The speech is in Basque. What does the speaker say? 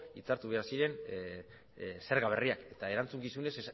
hitzartu behar ziren zerga berria eta erantzukizunez